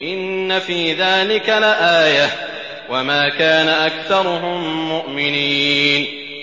إِنَّ فِي ذَٰلِكَ لَآيَةً ۖ وَمَا كَانَ أَكْثَرُهُم مُّؤْمِنِينَ